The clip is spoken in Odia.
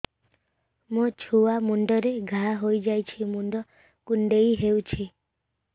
ମୋ ଛୁଆ ମୁଣ୍ଡରେ ଘାଆ ହୋଇଯାଇଛି ମୁଣ୍ଡ କୁଣ୍ଡେଇ ହେଉଛି